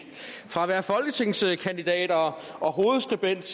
fra at være folketingskandidat og hovedskribent